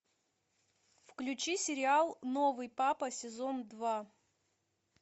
включи сериал новый папа сезон два